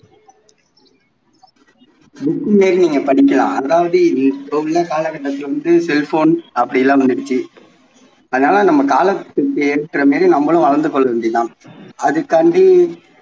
book லயும் நீங்க படிக்கலாம் அதாவது இப்போ உள்ள காலக்கட்டத்தில வந்து cellphone அப்படியெல்லாம் வந்துடுச்சு அதனால நம்ம காலத்துக்கு ஏற்ற மாதிரி நம்மளும் வளந்து கொள்ள வேண்டியது தான் அதுக்காண்டி